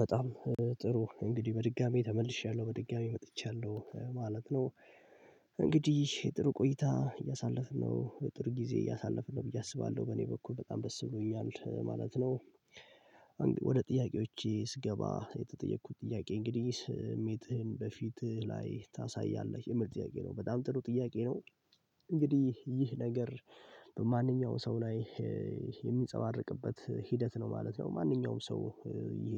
በጣም ጥሩ እንግዲህ በድጋሚ ተመልሻለሁ በድጋሚ መጥቻለሁ ማለት ነው። እንግዲህ ጥሩ ቆይታ እያሳለፍን ነው የጥሩ ጊዜ እያሳለፍን ነው ብዬ አስባለሁ በእኔ በኩል በጣም ደስ ብሎኛል ማለት ነው። ወደ ጥያቄዎቼ ስገባ የተጠየኩት ጥያቄ እንግዲህ ስሜትህን በፊትህ ላይ ታሳያለህ የምል ጥያቄ ነው በጣም ጥሩ ጥያቄ ነው። እንግዲህ ይህ ነገር በማንኛውም ሰው ላይ የሚንፀባርቅበት ሂደት ነው ማለት ነው። ማንኛውም ሰው ይሄ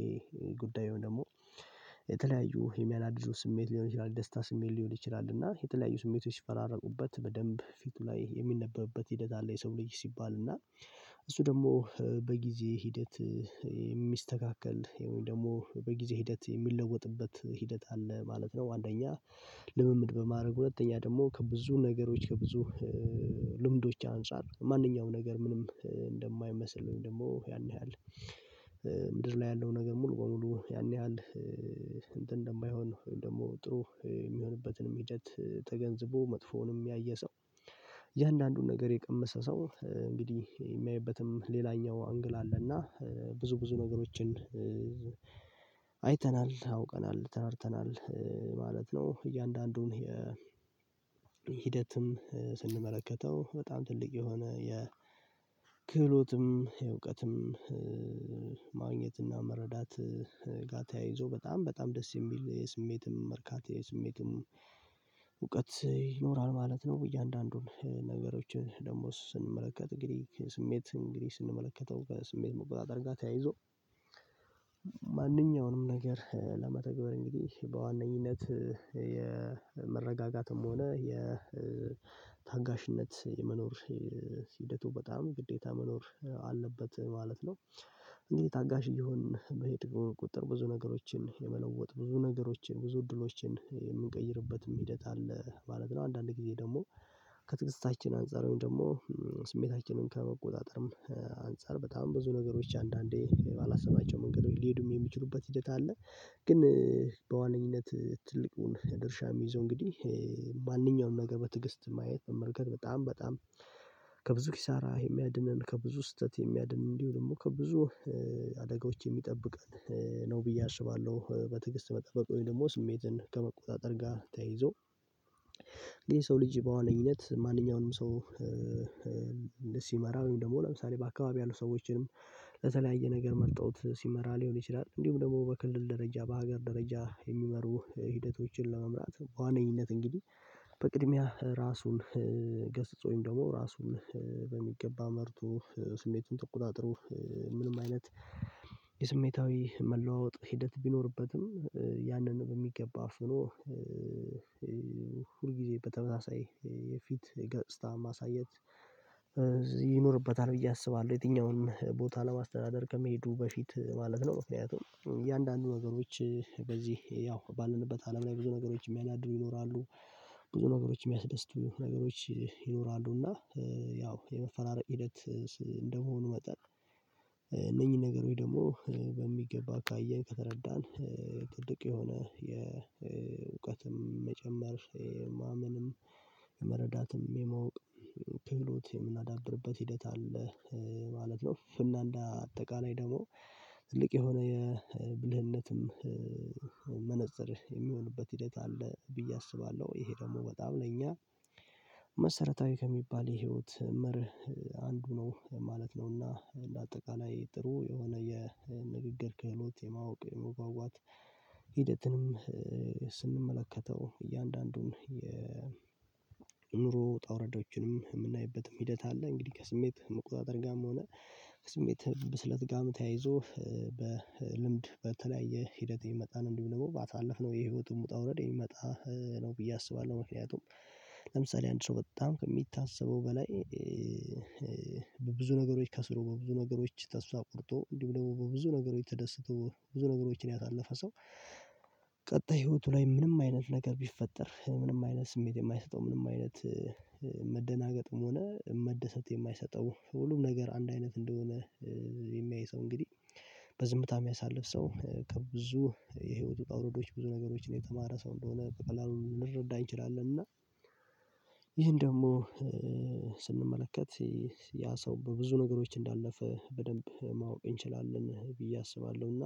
ጉዳዩደግሞ የተለያዩ ህሚያናድዱ ስሜት ሊሆን ይችላል ደስታ ስሜት ሊሆን ይችላል እና የተለያዩ ስሜቶች ሲፈራረቁበት በደንብ ፊቱ ላይ የሚነበብበት ሂደት አለ። የሰው ልጅ ሲባል እና እሱ ደግሞ በጊዜ ሂደት የሚስተካከል ወይም ደግሞ በጊዜ ሂደት የሚለወጥበት ሂደት አለ ማለት ነው። አንደኛ ልምምድ በማድረግ ሁለተኛ ደግሞ ከብዙ ነገሮች ከብዙ ልምዶች አንፃር ማንኛውም ነገር ምንም እንደማይመስለኝ ደግሞ ያን ያህል። ምድር ላይ ያለው ነገር ሙሉ በሙሉ ያን ያህል እንትን እንደማይሆን ወይም ደግሞ ጥሩ የሚሆንበትንም ሂደት ተገንዝቦ መጥፎውንም ያየ ሰው የእያንዳንዱን ነገር የቀመሰ ሰው እንግዲህ የሚያይበትም ሌላኛው አንግል አለና ብዙ ብዙ ነገሮችን አይተናል አውቀናል ተረድተናል። ነው እያንዳንዱን የ ሂደትም ስንመለከተው በጣም ትልቅ የሆነ የክህሎትም የእውቀትም ማግኘትና መረዳት ጋር ተያይዞ በጣም በጣም ደስ የሚል የስሜትም መርካት የስሜትም እውቀት ይኖራል ማለት ነው። እያንዳንዱን ነገሮችን ደግሞ ስንመለከት እንግዲ ስሜት እንግዲህ ስንመለከተው በስሜት መቆጣጠር ጋር ተያይዞ ማንኛውንም ነገር ለመተግበር እንግዲህ በዋነኝነት የመረጋጋትም ሆነ የታጋሽነት የመኖር ሂደቱ በጣም ግዴታ መኖር አለበት ማለት ነው። እንግዲህ ታጋሽ እየሆንን በሄድኩኝ ቁጥር ብዙ ነገሮችን የመለወጥ ብዙ ነገሮችን ብዙ እድሎችን የምንቀይርበትም ሂደት አለ ማለት ነው። አንዳንድ ጊዜ ደግሞ ከትግስታችን አንፃር ደግሞ ስሜታችንን ከመቆጣጠርም አንፃር በጣም ብዙ ነገሮች አንዳንዴ ባላሰባቸው መንገድ ሊሄዱም የሚችሉበት ሂደት አለ። ግን በዋነኝነት ትልቁን ድርሻ የሚይዘው እንግዲህ ማንኛውንም ነገር በትዕግስት ማየት መመልከት በጣም በጣም ከብዙ ኪሳራ የሚያድነን ከብዙ ስህተት የሚያድን እንዲሁ ደግሞ ከብዙ አደጋዎች የሚጠብቀን ነው ብዬ አስባለሁ። በትግስት መጠበቅ ወይም ደግሞ ስሜትን ከመቆጣጠር ጋር ተያይዞ የሰው ልጅ በዋነኝነት ማንኛውንም ሰው እንደ ሲመራ ወይም ደግሞ ለምሳሌ በአካባቢ ያሉ ሰዎችንም ለተለያየ ነገር መርጠውት ሲመራ ሊሆን ይችላል እንዲሁም ደግሞ በክልል ደረጃ በሀገር ደረጃ የሚመሩ ሂደቶችን ለመምራት ዋነኝነት እንግዲህ በቅድሚያ ራሱን ገስጾ ወይም ደግሞ ራሱን በሚገባ መርቶ ስሜቱን ተቆጣጥሮ ምንም አይነት የስሜታዊ መለዋወጥ ሂደት ቢኖርበትም ያንን በሚገባ አፍኖ ሁል ጊዜ በተመሳሳይ የፊት ገጽታ ማሳየት ይኖርበታል ብዬ አስባለሁ። የትኛውን ቦታ ለማስተዳደር ከመሄዱ በፊት ማለት ነው ምክንያቱም እያንዳንዱ ነገሮች በዚህ ያው ባለንበት አለም ላይ ብዙ ነገሮች የሚያናዱ ይኖራሉ። ብዙ ነገሮች የሚያስደስቱ ነገሮች ይኖራሉ እና ያው የመፈራረቅ ሂደት እንደመሆኑ መጠን እነኚህን ነገሮች ደግሞ በሚገባ ካየን ከተረዳን ድንቅ የሆነ የእውቀትም መጨመር ማመንም መረዳትም የማወቅ ክህሎት የምናዳብርበት ሂደት አለ። ማለት ነው እና እንዳ አጠቃላይ ደግሞ ትልቅ የሆነ የብልህነትም መነፀር የሚሆንበት ሂደት አለ ብዬ አስባለሁ። ይሄ ደግሞ በጣም ለኛ መሰረታዊ ከሚባል የህይወት መርህ አንዱ ነው ማለት ነውና አንደአጠቃላይ ጥሩ የሆነ የንግግር ክህሎት የማወቅ የመግባባት ሂደትንም ስንመለከተው እያንዳንዱን የኑሮ ውጣውረዶችንም የምናይበትም ሂደት አለ። እንግዲህ ከስሜት መቁጣጠር ጋርም ሆነ ከስሜት ብስለት ጋም ተያይዞ በልምድ በተለያየ ሂደት የሚመጣን እንዲሁ ደግሞ ባሳለፍነው የህይወቱን ውጣ ውረድ የሚመጣ ነው ብዬ አስባለሁ። ምክንያቱም ለምሳሌ አንድ ሰው በጣም ከሚታሰበው በላይ በብዙ ነገሮች ከስሮ በብዙ ነገሮች ተስፋ ቆርጦ ደግሞ በብዙ ነገሮች ተደስቶ ብዙ ነገሮችን ያሳለፈ ሰው ቀጣይ ህይወቱ ላይ ምንም አይነት ነገር ቢፈጠር ምንም አይነት ስሜት የማይሰጠው ምንም አይነት መደናገጥም ሆነ መደሰት የማይሰጠው ሁሉም ነገር አንድ አይነት እንደሆነ የሚያይ ሰው እንግዲህ በዝምታ የሚያሳልፍ ሰው ከብዙ የህይወቱ ውጣውረዶች ብዙ ነገሮችን የተማረ ሰው እንደሆነ በቀላሉ ልንረዳ እንችላለን እና ይህን ደግሞ ስንመለከት ያ ሰው በብዙ ነገሮች እንዳለፈ በደንብ ማወቅ እንችላለን ብዬ አስባለሁና